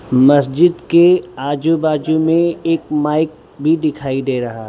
मस्जिद के आजू बाजू मे एक माइक भी दिखाई दे रहा --